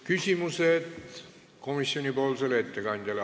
Küsimused komisjoni ettekandjale.